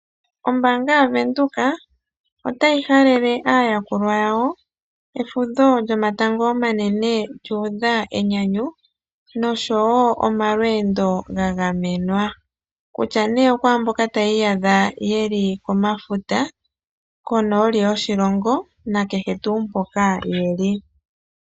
Ombaanga yaVenduka otayi halele aayakulwa yawo efudho lyomatango omanene lyuudha enyanyu noshowoo omalweendo gagamenwa, kutya okwaambono yeli tayi iyadha yeli komafuta , konooli yoshilongo nakehe tuu mpoka yeli.